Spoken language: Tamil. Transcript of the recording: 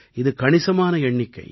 இது கணிசமான எண்ணிக்கை